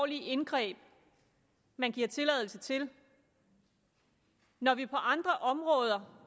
indgreb man giver tilladelse til når vi på andre områder